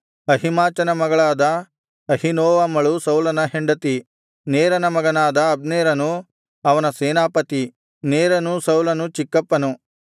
ಅಹೀಮಾಚನ ಮಗಳಾದ ಅಹೀನೋವಮಳು ಸೌಲನ ಹೆಂಡತಿ ನೇರನ ಮಗನಾದ ಅಬ್ನೇರನು ಅವನ ಸೇನಾಪತಿ ನೇರನು ಸೌಲನು ಚಿಕ್ಕಪ್ಪನು